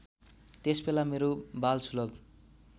त्यसबेला मेरो बालसुलभ